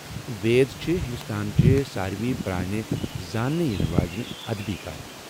وید چھِ ہنٛدوستانٕچہِ ساروٕے پرٛانہِ زانٛنہٕ ینہٕ واجینہِ ادبی کامہِ۔